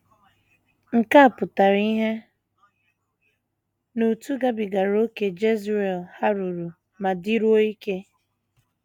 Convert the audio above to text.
Nke a pụtara ìhè n’otú gabigara ókè Jezreel haruru ma dịruo ike.